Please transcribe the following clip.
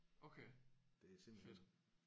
Okay fedt